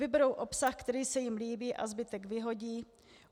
Vyberou obsah, který se jim líbí, a zbytek vyhodí.